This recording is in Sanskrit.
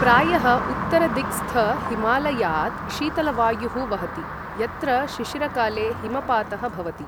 प्रायः उत्तरदिक्स्थहिमालयात् शीतलवायुः वहति, यत्र शिशिरकाले हिमपातः भवति।